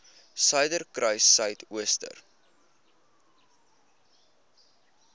suiderkruissuidooster